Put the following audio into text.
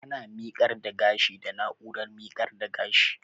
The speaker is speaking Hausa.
Ana miƙar da gashi da na'urar miƙar da gashi